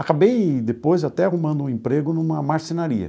Acabei depois até arrumando um emprego numa marcenaria.